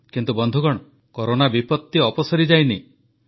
କିନ୍ତୁ ବନ୍ଧୁଗଣ କରୋନା ବିପତ୍ତି ଅପସରିଯାଇନି